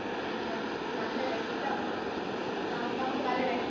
നമ്മക്കിപ്പോ നല്ല രക്തം നോ നമ്മക്ക് നല്ല രക്